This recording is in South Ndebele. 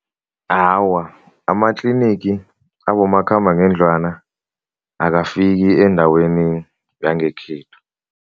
Awa, amatlinigi abomakhambangendlwana akafiki endaweni yangekhethu.